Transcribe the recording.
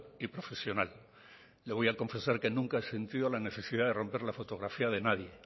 y profesional le voy a confesar que nunca he sentido la necesidad de romper la fotografía de nadie